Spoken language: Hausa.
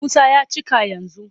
Musa ya cika yanzu.